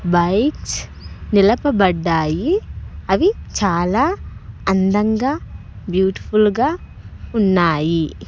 Bikes నిలపబడ్డాయి అవి చాలా అందంగా బ్యూటిఫుల్ గా ఉన్నాయి.